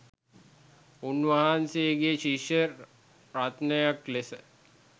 උන්වහන්සේගේ ශිෂ්‍ය රත්නයක් ලෙස